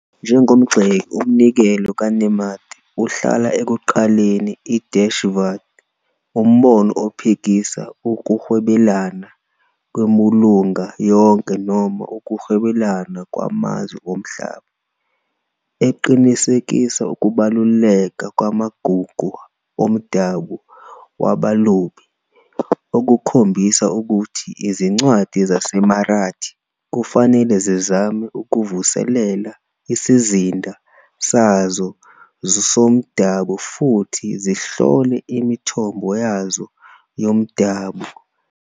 Njengomgxeki, umnikelo "kaNemade" uhlala ekuqaliseni iDeshivad, umbono ophikisa ukuhwebelana kwembulunga yonke noma ukuhwebelana kwamazwe omhlaba, eqinisekisa ukubaluleka kwamagugu omdabu wabalobi, okukhombisa ukuthi izincwadi zaseMarathi kufanele zizame ukuvuselela isizinda sazo somdabu futhi zihlole imithombo yazo yomdabu.